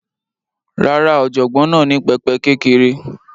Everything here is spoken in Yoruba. Rárá, ọ̀jọ̀gbọ́n náà ní pẹpẹ kékeré